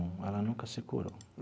Ela nunca se curou.